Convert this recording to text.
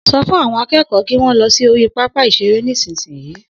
So fún àwọn akẹ́kọ̀ọ́ kí wọn lọ sí orí pápá ìṣeré nísinsìnyí